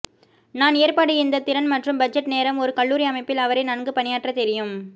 நான் ஏற்பாடு இந்த திறன் மற்றும் பட்ஜெட் நேரம் ஒரு கல்லூரி அமைப்பில் அவரை நன்கு பணியாற்ற தெரியும்